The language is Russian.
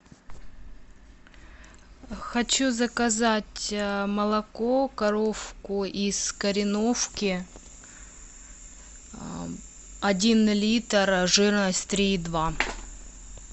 хочу заказать молоко коровку из кореновки один литр жирность три и два